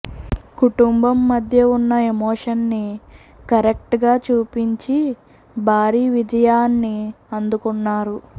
కుటుంబం మధ్య ఉన్న ఎమోషన్స్ ని కరెక్ట్ గా చూపించి భారీ విజయాన్ని అందుకున్నారు